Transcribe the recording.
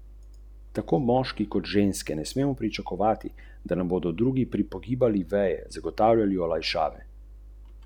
Vedno sem stavil le s svojim denarjem.